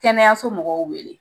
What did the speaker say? Kɛnɛyaso mɔgɔw wele